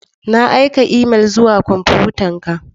Na aika imel zuwa kwamfutarka.